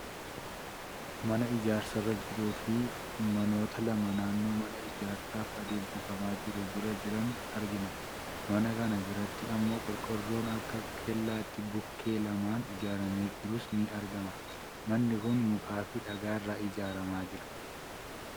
Mana ijaarsa irra jiruu fi namoota lama naannoo mana ijaarsaaf adeemsifamaa jiru bira jiran argina. Mana kana biratti immoo qorqoorroon akka kellaatti bukkee lamaan ijaaramee jirus ni argama. Manni kun mukaa fi dhagaarra ijaaramaa jira.